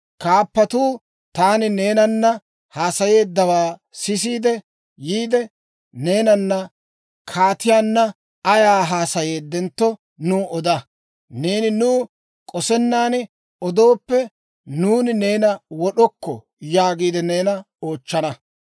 Kaappatuu taani neenana haasayeeddawaa sisiide yiide, ‹Neenana kaatiyaanna ayaa haasayeeddentto, nuw oda. Neeni nuw k'osennan odooppe, nuuni neena wod'okko› yaagiide neena oochchana.